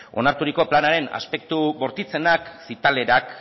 onarturiko planaren aspektu bortitzenak zitalenak